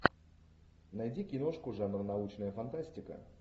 найди киношку жанр научная фантастика